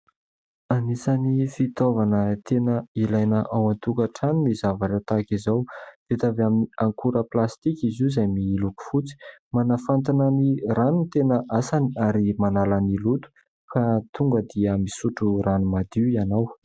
Anisan'ny fitaovana tena ilaina ao an-tokantrano ny zavatra tahaka izao. Vita avy amin'ny akora "plastika" izy io izay miloko fotsy. Manafantina ny rano no tena asany ary manala ny loto, ka tonga dia misotro rano madio ianao.